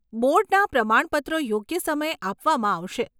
બોર્ડના પ્રમાણપત્રો યોગ્ય સમયે આપવામાં આવશે.